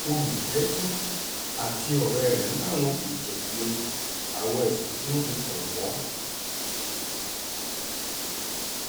olùjẹ́jọ́ àti ọ̀rẹ́ rẹ̀ làwọn kò jẹ̀bi àwọn ẹ̀sùn tí wọ́n fi kàn wọ́n